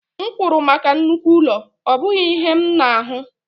M kwụrụ maka nnukwu ụlọ, ọ bụghị ihe a m na-ahụ